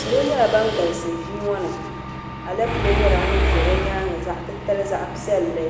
salo nyɛla ban galisi ʒii ŋɔ ni alapelɛ ŋun za bɛ nyaaŋa zaɣ'titali zaɣ'piɛlli